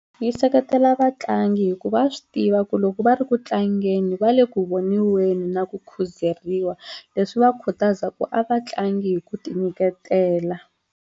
Yi seketela vatlangi hikuva va swi tiva ku loko va ri ku tlangeni va le ku voniweni na ku khuzeriwa leswi va khutaza ku a va tlangi hi ku ti nyiketela.